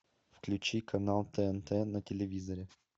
включи канал тнт на телевизоре